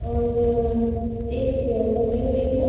और एक चेयर लगी हुई है।